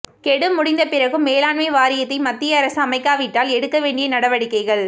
கெடு முடிந்த பிறகும் மேலாண்மை வாரியத்தை மத்திய அரசு அமைக்காவிட்டால் எடுக்க வேண்டிய நடவடிக்கைகள்